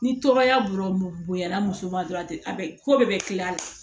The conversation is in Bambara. Ni tɔgɔya bɔra bonya na muso ma dɔrɔn a tɛ a bɛ ko bɛɛ bɛ kila